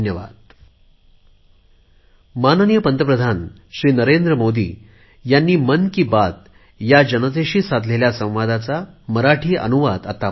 धन्यवाद